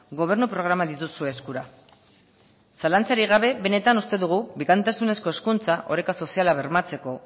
gobernu programan dituzue eskura zalantzarik gabe benetan uste dugu bikaintasunezko hezkuntza oreka soziala bermatzeko